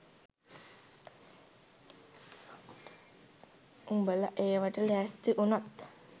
උඹල ඒවාට ලැස්ති උනොත්